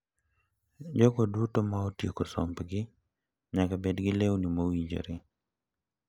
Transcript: Jogo duto ma otieko sombgi nyaka bed gi lewni mowinjore.